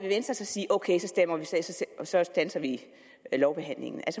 venstre så sige ok så standser vi lovbehandlingen